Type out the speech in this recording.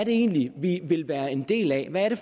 egentlig er vi vil være en del af hvad det